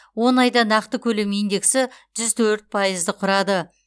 он айда нақты көлем индексі жүз төрт пайызды құрады